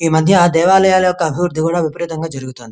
ఈ మధ్య దేవలయాలో వెక్క అభిరుద్ది కూడా విపరితనంగా జరుగుతుంది.